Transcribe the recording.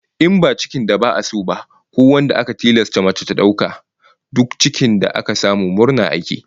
In ba cikin da ba'a so ba, ko wanda aka tilasta mace dauka ba, duk cikin da aka samu murna ake yi